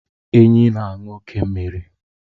Enyí na-aṅụ oke mmiri.